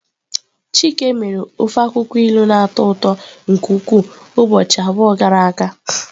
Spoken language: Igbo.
Chike mere. Ofe akwukwo ilu na-atọ ụtọ nke ukwuu ụbọchị abụọ gara aga.